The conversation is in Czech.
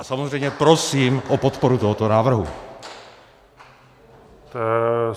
A samozřejmě prosím o podporu tohoto návrhu.